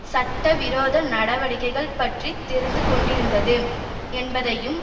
சட்ட விரோத நடவடிக்கைகள் பற்றி தெரிந்து கொண்டிருந்தது என்பதையும்